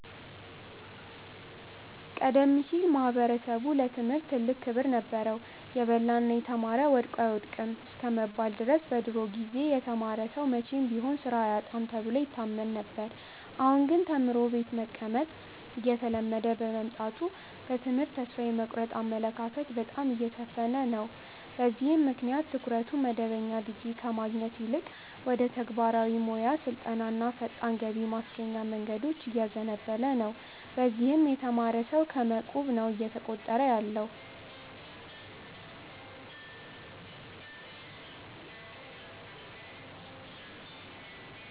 ቀደም ሲል ማኅበረሰቡ ለትምህርት ትልቅ ክብር ነበረው። "የበላና የተማረ ወድቆ አይወድቅም" እስከመባል ድረስ በድሮ ጊዜ የተማረ ሰው መቼም ቢሆን ሥራ አያጣም ተብሎ ይታመን ነበር። አሁን ግን ተምሮ ቤት መቀመጥ እየተለመደ በመምጣቱ በትምህርት ተስፋ የመቁረጥ አመለካከት በጣም እየሰፈነ ነው። በዚህም ምክንያት ትኩረቱ መደበኛ ዲግሪ ከማግኘት ይልቅ ወደ ተግባራዊ ሞያ ስልጠናና ፈጣን ገቢ ማስገኛ መንገዶች እያዘነበለ ነው። በዚህም የተማረ ሰው ከመ ቁብ ነው እየተቆጠረ ያለው።